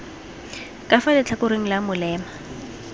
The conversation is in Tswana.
ka fa letlhakoreng la molema